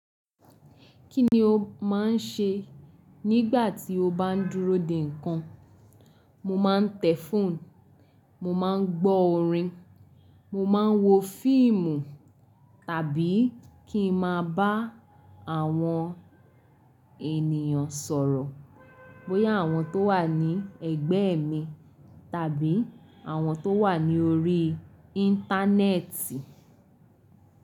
Kí ni o máa ń ṣe nígbà tí o bá ń dúró dè nǹkan? Mo máa ń tẹ̀ fóònù, mo máa ń gbọ́ orin, mo máa ń wo fíìmù tàbí kí ma bá àwọn ènìyàn sọ̀rọ̀, bóyá àwọn tó wà ní ẹ̀gbẹ́ mi tàbí àwọn tó wà ní orí íńtánẹ́ẹ̀tì.